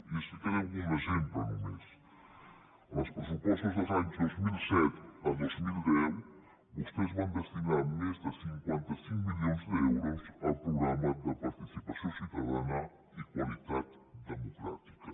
i explicaré un exemple només en els pressupostos dels anys dos mil set al dos mil deu vostès van destinar més de cinquanta cinc milions d’euros al programa de participació ciutadana i qualitat democràtica